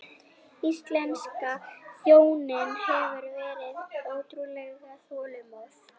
Íslenska þjóðin hefur verið ótrúlega þolinmóð